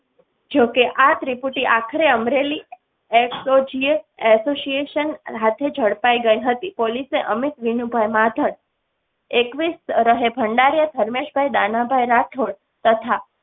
જોકે આ ત્રિપુટી આખરે અમરેલી. association હાથે ઝડપાઈ ગઈ હતી. પોલીસે અમિત વિનુભાઇ. એકવીસ રહે. ભંડારીયા ધર્મેશ ભાઈ દાનાભાઈ રાઠોડ તથા